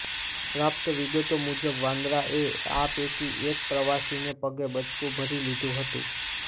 પ્રાપ્ત વિગતો મુજબ વાંદરાએ આ પૈકી એક પ્રવાસીને પગે બચકું પણ ભરી લીધું હતું